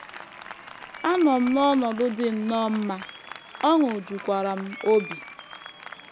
“ Anọ m n’ọnọdụ dị nnọọ mma, ọṅụ jukwara m obi....